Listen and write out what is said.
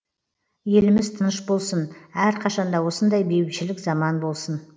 еліміз тыныш болсын әрқашанда осындай бейбітшілік заман болсын